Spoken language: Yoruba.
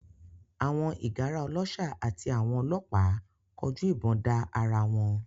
Àwọn ìgárá ọlọ́ṣà àti àwọn ọlọ́pàá kọjú ìbọn da ara wọn